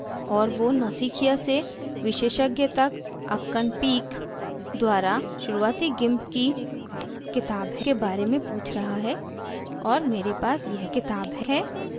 और वो नौसिखिया से विशेषज्ञ तक akkana peck akkana peck द्वारा शुरूआती gimp की किताब के बारे में पूछ रहा है और मेरे पास यह किताब है